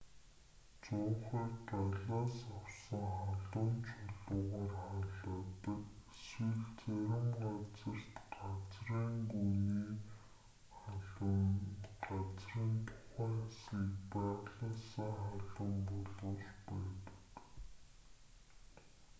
зуухыг галаас авсан халуун чулуугаар халаадаг эсвэл зарим газарт газрын гүний халуун нь газрын тухайн хэсгийг байгалиасаа халуун болгож байдаг